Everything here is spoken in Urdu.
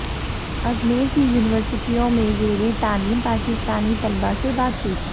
ازمیر کی یونیورسٹیوں میں زیر تعلیم پاکستانی طلبا سے بات چیت